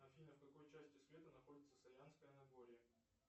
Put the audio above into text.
афина в какой части света находится саянское нагорье